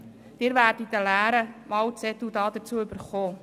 Sie werden hierzu einen leeren Wahlzettel erhalten.